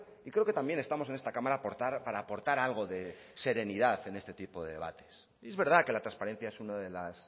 y creo que también estamos en esta cámara para aportar algo de serenidad en este tipo de debates y es verdad que la transparencia es una de las